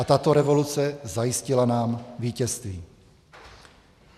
a tato revoluce zajistila nám vítězství.